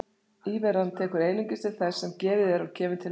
Íveran tekur einungis til þess sem gefið er og kemur til með að verða.